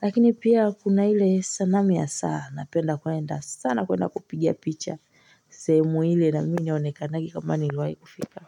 lakini pia kuna ile sanamu ya saa napenda kuenda sana kuenda kupiga picha sehemu ile na mimi nionekanange kama niliwahi kufika.